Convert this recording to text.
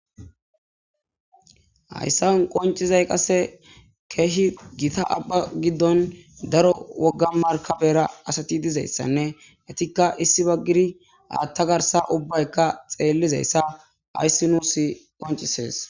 hayssawon qoncizay qasse keehi gita abba giddon daro wogga markabera asati dizayssanne etikka issi baggiri aatta garsa ubbaykka xeellizayssa hayssi nuusi qoncisees